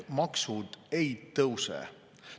Maksud ei tõuse.